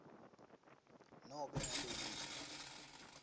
nobe ngabe yini